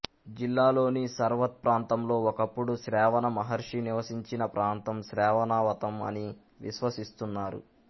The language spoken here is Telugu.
జిల్లాలోని సర్వత్ ప్రాంతంలో ఒకప్పుడు శ్రవణ మహర్షి నివసించిన ప్రాంతం శ్రవణావతం అని విశ్వసిస్తున్నారు